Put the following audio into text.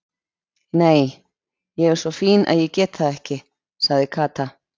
Nei, ég er svo fín að ég get það ekki sagði Kata.